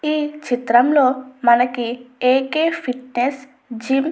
ఈ చిత్రంలో మనకి ఏకే ఫిట్నెస్ జిమ్ --